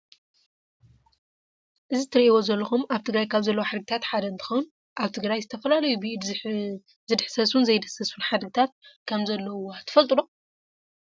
እዚ እትሪእዎ ዘለኹም ኣብ ትግራይ ካብ ዘለው ሓድግታት ሓደ እንትኸውን ኣብ ትግራይ ዝተፈላለዩ ብኢድ ዝድሕሰሱን ዘይድህሰሱን ሓድግታት ከም ዘለውዋ ትፈልጡ ዶ?